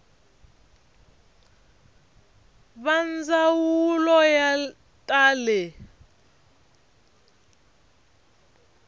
va ndzawulo ya ta le